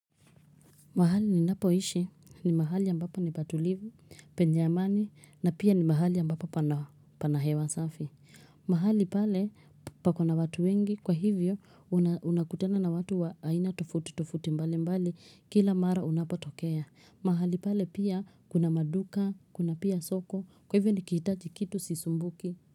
Mahali ni napo ishi ni mahali ambapo ni patulivu, penye amani na pia ni mahali ambapo pana hewa safi. Mahali pale pako na watu wengi kwa hivyo unakutana na watu wa aina tofauti tofauti mbali mbali kila mara unapotokea. Mahali pale pia kuna maduka, kuna pia soko, kwa hivyo ni kihitaji kitu sisumbuki.